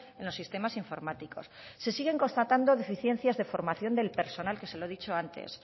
en los sistemas informáticos se siguen constatando deficiencias de formación del personal que se lo he dicho antes